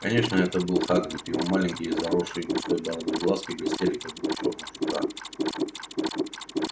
конечно это был хагрид его маленькие заросшие густой бородой глазки блестели как два чёрных жука